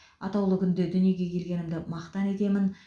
атаулы күнде дүниеге келгенімді мақтан етемін